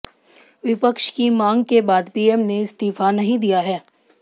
विपक्ष की मांग के बाद पीएम ने इस्तीफा नहीं दिया है